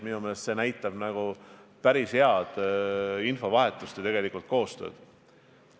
Minu meelest see näitab päris head infovahetust ja koostööd.